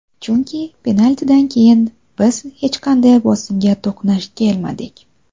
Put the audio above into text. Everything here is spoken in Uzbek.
Chunki penaltidan keyin biz hech qanday bosimga to‘qnash kelmadik.